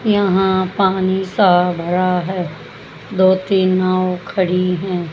यहां पानी सा भरा है दो तीन नाव खड़ी हैं।